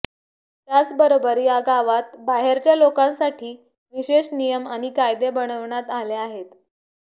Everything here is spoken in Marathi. त्याचबरोबर या गावात बाहेरच्या लोकांसाठी विशेष नियम आणि कायदे बनविण्यात आले आहेत